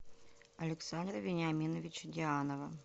александра вениаминовича дианова